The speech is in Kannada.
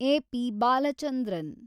ಎ. ಪಿ. ಬಾಲಚಂದ್ರನ್